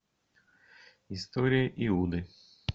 история иуды